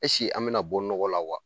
an mina bɔ nɔgɔ la wa ?